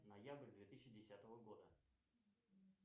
ноябрь две тысячи десятого года